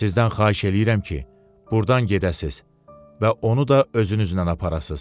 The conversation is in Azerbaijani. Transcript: Mən sizdən xahiş eləyirəm ki, burdan gedəsiz və onu da özünüzlə aparasız.